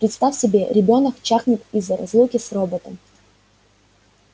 представь себе ребёнок чахнет из-за разлуки с роботом